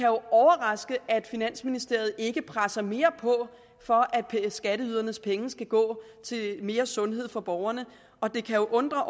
overraske at finansministeriet ikke presser mere på for at skatteydernes penge skal gå til mere sundhed for borgerne og det kan undre